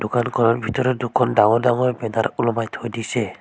দোকানখনৰ ভিতৰত দুখন ডাঙৰ ডাঙৰ ওলমাই থৈ দিছে।